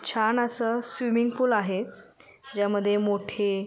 छान अस swimming pool आहे ज्यामध्ये मोठे--